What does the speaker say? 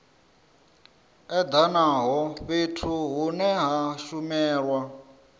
edanaho fhethu hune ha shumelwa